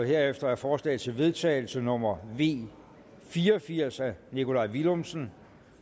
herefter er forslag til vedtagelse nummer v fire og firs af nikolaj villumsen